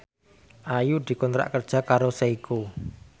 Ayu dikontrak kerja karo Seiko